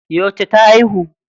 Yauce ta haihu?